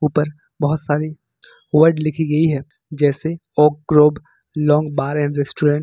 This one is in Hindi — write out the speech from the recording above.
पर बहुत सारी वर्ड लिखी गई है जैसे oak grove long bar and restaurant.